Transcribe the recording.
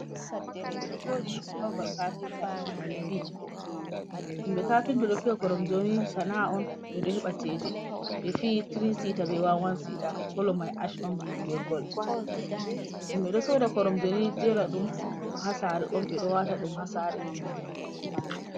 Koromje ɗo jooɗi ha babal kafinta , ɓefiyi himɓe kafinta ɗo fiya koromjeni sana'a on ɓe heɓa ceede, ɓefiyi tiri sita be wan wan sita, kolo mai ash be gol, himɓe ɗo soda koromje ni jera ɗum, ha sare, wata ha ɗum sare